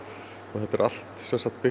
þetta er allt byggt